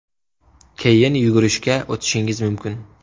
Keyin yugurishga o‘tishingiz mumkin.